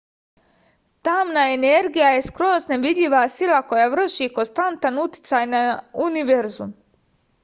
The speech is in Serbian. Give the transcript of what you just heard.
tamna energija je skroz nevidljiva sila koja vrši konstantan uticaj na univerzum